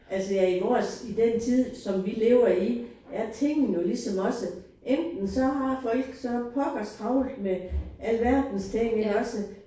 Altså ja i vores i den tid som vi lever i er tingene jo ligesom også enten så har folk så pokkers travlt med alverdens ting ikke også